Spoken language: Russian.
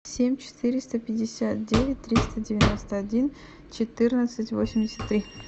семь четыреста пятьдесят девять триста девяносто один четырнадцать восемьдесят три